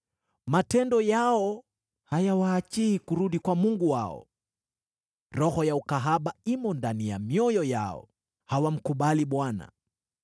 “Matendo yao hayawaachii kurudi kwa Mungu wao. Roho ya ukahaba imo ndani ya mioyo yao, hawamkubali Bwana .